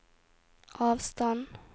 avstand